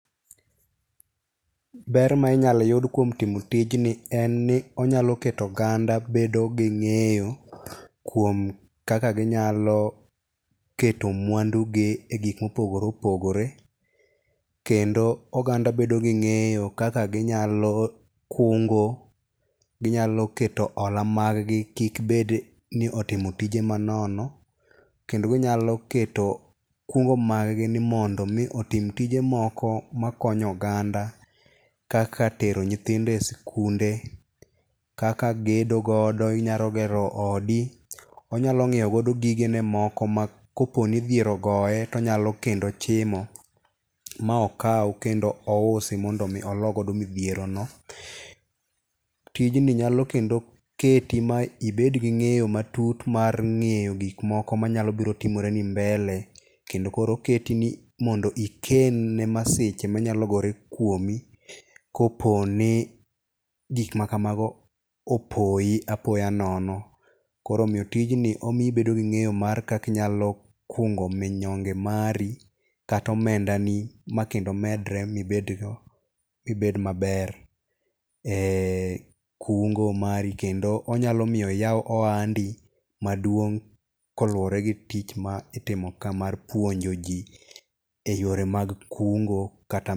Ber ma inyalo yud kuom timo tijni en ni onyalo keto oganda bedo gi ng'eyo kuom kaka ginyalo keto mwandu gi e gik mopogore opogore. Kendo oganda bedo gi ng'eyo kaka ginyalo kungo, ginyalo keto hola mag gi kik bed ni otimo tije manono. Kendo ginyalo keto kungo mag gi ni mondo mi otim tije moko makonyo oganda kaka tero nyithindo e skunde, kaka gedo godo inyalo gero odi. Onyalo ng'iew godo gige ne moko ma kopo ni dhier ogoye tonyalo kendo chimo ma okaw kendo ousi mondo mi olo godo midhiero no. Tijni nyalo kendo keti ma ibedgi gi ng'eyo matut mar ng'eyo gik moko manyalo biro timore ni mbele. Kendo koro oketi ni mondo iken ne masiche manyalo gore kuomi kopo ni gik makamago opoyi apoya nono. Koro omiyo tijni omiyi ibedo gi ng'eyo mar kaka inyalo kungo minyonge mari kata omenda ni makendo medre mibed maber en kungo mari. Kendo onyalo miyo iyaw ohandi maduong' koluwore gi tich ma itimo ka mar puonjo ji e yore mag kungo kata.